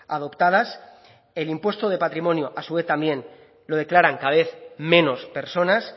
adoptadas el impuesto de patrimonio a su vez también lo declaran cada vez menos personas